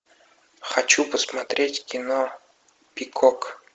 хочу посмотреть кино пикок